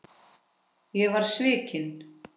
Ég var svikinn